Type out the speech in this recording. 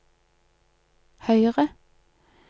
høyre